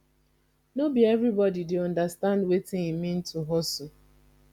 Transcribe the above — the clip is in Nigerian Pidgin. no be everybodi dey understand wetin e mean to hustle